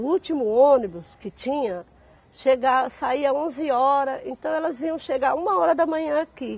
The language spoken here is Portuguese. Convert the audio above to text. O último ônibus que tinha chega, saía onze horas, então elas vinham chegar uma hora da manhã aqui.